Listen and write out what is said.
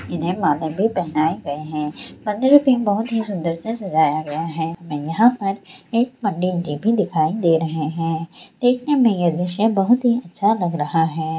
इन्हें माला भी पहनाए गए है मंदिर भी बहुत ही सुन्दर से सजाया गया है मैं यहां पर एक पंडित जी भी दिखाई दे रहे है देखने में ये दृश्य बहुत अच्छा लग रहा है।